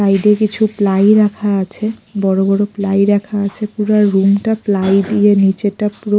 সাইডে কিছু প্লাই রাখা আছে বড়ো বড়ো প্লাই রাখা আছে পুরা রুমটা প্লাই দিয়ে নীচেটা পুরো --